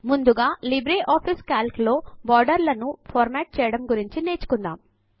ముందుగా లిబ్రేఆఫీస్ Calcలో బోర్డర్లను ఫార్మాట్ చేయడము గురించి నేర్చుకుందాము